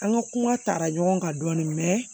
An ka kuma tara ɲɔgɔn kan dɔɔni mɛ